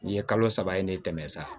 Nin ye kalo saba ye ne tɛmɛn sa